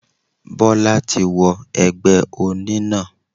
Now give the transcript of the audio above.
Bólá ti wo egbé oní náà